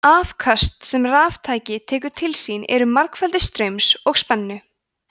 afköst sem raftæki tekur til sín eru margfeldi straums og spennu